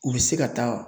U bɛ se ka taa